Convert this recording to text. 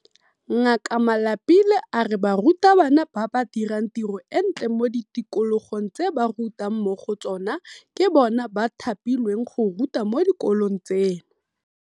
Ngaka Malapile a re barutabana ba ba dirang tiro e ntle mo di tikologong tse ba rutang mo go tsona ke bona ba thapilweng go ruta mo dikolong tseno.